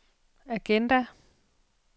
agenda